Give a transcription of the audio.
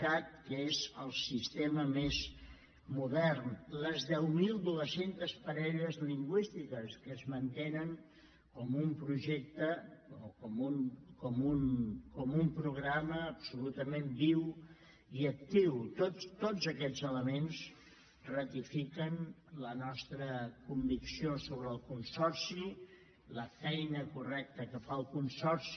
cat que és el sistema més modern les dos mil nou cents parelles lingüístiques que es mantenen com un projecte o com un programa absolutament viu i actiu tots aquests elements ratifiquen la nostra convicció sobre el consorci la feina correcta que fa el consorci